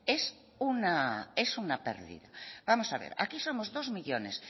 es una pérdida vamos a ver aquí somos dos millónes